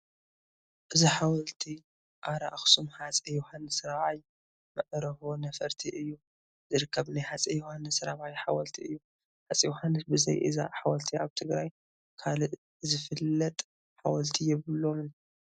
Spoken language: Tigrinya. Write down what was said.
እዚ ሓወልቲ ኣራ ኣኽሱም ሃፀይ ዮሃንስ 4ይ መዕርፎ ነፈርቲ እዩ ዝርከብ ናይ ሃፀይ ዮሃንስ ራብዓይ ሓወልቲ እዩ፡፡ ሃፀይ ዮሃንስ ብዘይ እዛ ሓወልቲ ኣብ ትግራይ ካልእ ዝፍለጥ ሓወልቲ የብሎምን፡፡